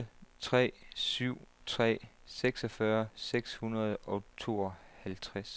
otte tre syv tre seksogfyrre seks hundrede og tooghalvtreds